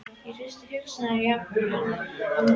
Ég hristi hugsanirnar jafnharðan af mér.